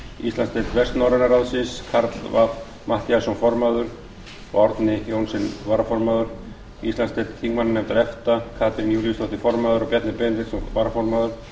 íslandsdeild vestnorræna ráðsins karl fimmti matthíasson formaður og árni johnsen varaformaður íslandsdeild þingmannanefndar efta katrín júlíusdóttir formaður og bjarni benediktsson varaformaður